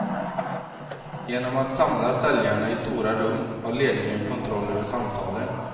Genom att samla säljarna i stora rum har ledningen kontroll över samtalen.